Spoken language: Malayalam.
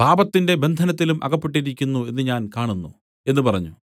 നീ കടുത്ത അസൂയയിലും പാപത്തിന്റെ ബന്ധനത്തിലും അകപ്പെട്ടിരിക്കുന്നു എന്ന് ഞാൻ കാണുന്നു എന്ന് പറഞ്ഞു